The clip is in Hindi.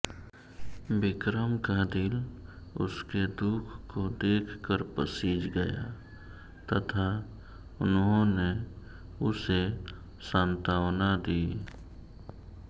विक्रम का दिल उसके दुख को देखकर पसीज गया तथा उन्होंने उसे सांत्वना दी